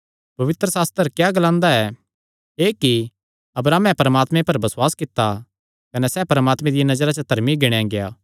पवित्रशास्त्र क्या ग्लांदा ऐ एह़ कि अब्राहमे परमात्मे पर बसुआस कित्ता कने सैह़ परमात्मे दिया नजरा च धर्मी गिणेया गेआ